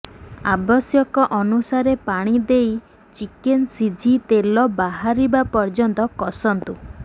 ଆବଶ୍ୟକ ଅନୁସାରେ ପାଣି ଦେଇ ଚିକେନ୍ ସିଝି ତେଲ ବାହାରିବା ପର୍ଯ୍ୟନ୍ତ କଷନ୍ତୁ